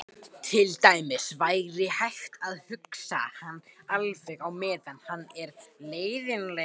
Til dæmis væri hægt að hunsa hann alveg á meðan hann er leiðinlegur.